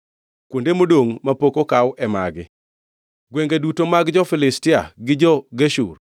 “Kuonde modongʼ mapok okaw e magi: “gwenge duto mag jo-Filistia gi jo-Geshur,